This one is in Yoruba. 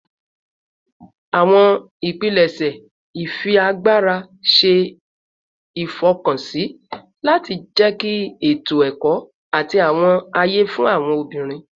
Awọn ipilẹṣẹ ifiagbara ṣe ifọkansi lati jẹki eto-ẹkọ ati awọn aye fun awọn obinrin